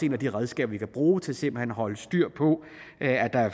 et af de redskaber vi kan bruge til simpelt hen at holde styr på